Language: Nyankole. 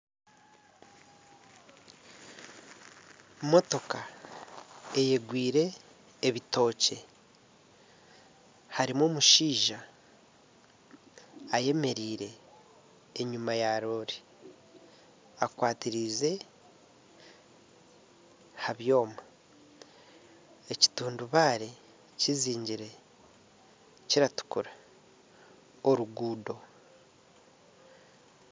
Motoka eyegwire ebitookye harimu omushaija ayemereire enyima ya roore akwatiriize ha byoma. Ekitundubaare kizingire kiratukura oruguudo.